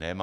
Nemá.